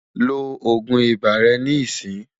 lọ ogún ibà rè ní ìsìn